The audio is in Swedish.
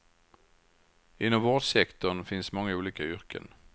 Inom vårdsektorn finns många olika yrken.